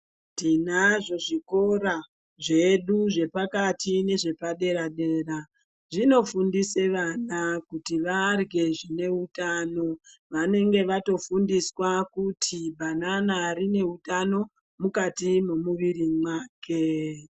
Tinazvo zvikora zvedu zvepakati nezvepadera dera zvinofundise vana kuti varye zvine utano vanenge vatofundiswa kuti banana rine utano mukati mwemuwiri mwake.